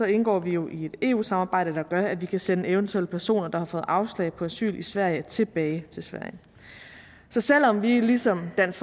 indgår vi jo i et eu samarbejde der gør at vi kan sende eventuelle personer der har fået afslag på asyl i sverige tilbage til sverige så selv om vi ligesom dansk